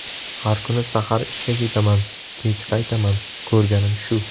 Har kuni sahar ishga ketaman, kech qaytaman, ko‘rganim shu!